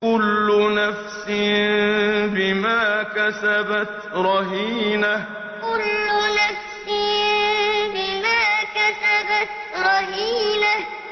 كُلُّ نَفْسٍ بِمَا كَسَبَتْ رَهِينَةٌ كُلُّ نَفْسٍ بِمَا كَسَبَتْ رَهِينَةٌ